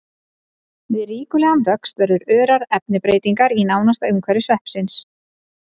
Við ríkulegan vöxt verða örar efnabreytingar í nánasta umhverfi sveppsins.